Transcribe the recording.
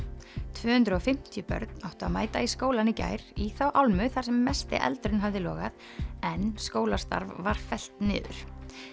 tvö hundruð og fimmtíu börn áttu að mæta í skólann í gær í þá álmu þar sem mesti eldurinn hafði logað en skólastarf var fellt niður